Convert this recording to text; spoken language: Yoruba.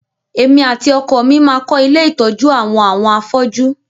Èmi àti ọkọ mi máa kọ́ ilé ìtọjú àwọn àwọn afọ́ju.